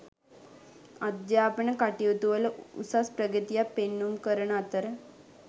අධ්‍යාපන කටයුතුවල උසස් ප්‍රගතියක් පෙන්නුම් කරන අතර